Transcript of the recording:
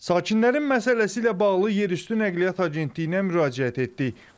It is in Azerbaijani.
Sakinlərin məsələsi ilə bağlı Yerüstü Nəqliyyat Agentliyinə müraciət etdik.